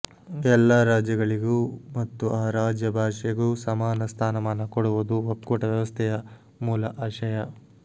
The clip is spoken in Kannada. ಎಲ್ಲಾ ರಾಜ್ಯಗಳಿಗೂ ಮತ್ತು ಆ ರಾಜ್ಯ ಭಾಷೆಗೂ ಸಮಾನ ಸ್ಥಾನಮಾನ ಕೊಡುವುದು ಒಕ್ಕೂಟ ವ್ಯವಸ್ಥೆಯ ಮೂಲ ಆಶಯ